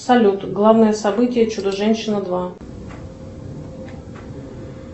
салют главное событие чудо женщина два